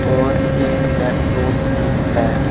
और एक लैपटॉप भी है।